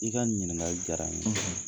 I ka nin ɲiniŋali diyara n ye.